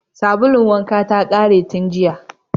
Sabulun wankana ta ƙare tun jiya.